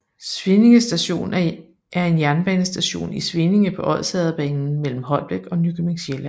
Svinninge Station er en jernbanestation i Svinninge på Odsherredsbanen mellem Holbæk og Nykøbing Sjælland